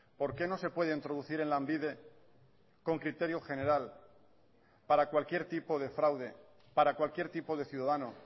por qué no se puede introducir en lanbide con criterio general para cualquier tipo de fraude para cualquier tipo de ciudadano